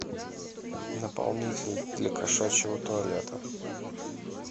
наполнитель для кошачьего туалета